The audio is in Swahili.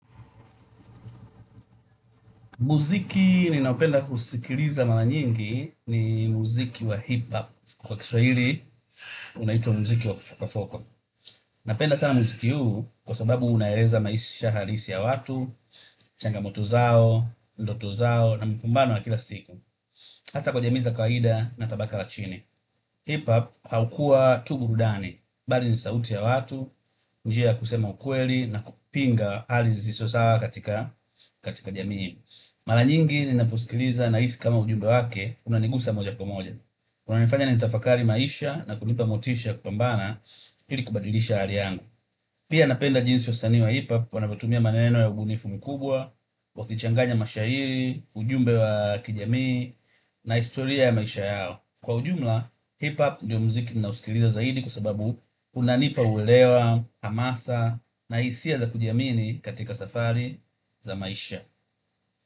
Muziki ninaopenda kusikiliza mara nyingi ni muziki wa hip-hop. Kwa Kiswahili, unaitwa muziki wa Foko Foko. Napenda sana muziki huu kwa sababu unaeleza maisha halisi ya watu, changamoto zao, ndoto zao na mapambano ya kila siku. Hasa kwa jamii za kawaida na tabaka la chini. Hip-hop haukua tu burudani, bali ni sauti ya watu, njia ya kusema ukweli na kupinga hali zisizo sawa katika jamii. Mara nyingi ninaposikiliza nahisi kama ujumbe wake unanigusa moja kwa moja. Unanifanya nitafakari maisha na kunipa motisha kwa ya kupambana ili kubadilisha hali yangu. Pia napenda jinsi wasanii wa hipop wanavotumia maneno ya ubunifu mkubwa, wakichanganya mashahiri, ujumbe wa kijamii, na historia ya maisha yao. Kwa ujumla, hipop ndio muziki ninaosikiliza zaidi kwa sababu unanipa uelewa, hamasa, na hisia za kujiamini katika safari za maisha.